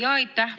Jaa, aitäh!